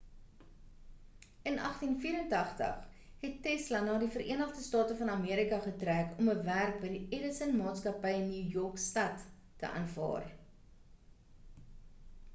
in 1884 het tesla na die verenigde state van amerika getrek om 'n werk by die edison maatskappy in new york stad te aanvaar